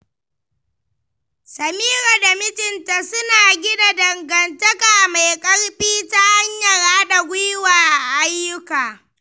Samira da mijinta suna gina dangantaka mai ƙarfi ta hanyar haɗa gwiwa a ayyuka.